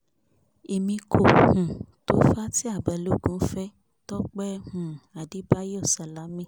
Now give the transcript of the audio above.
èmi kò um tó fatia balógun fẹ́ tọpẹ́ um adébáyò sálámí